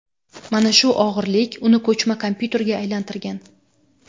Mana shu og‘irlik uni ko‘chma kompyuterga aylantirgan.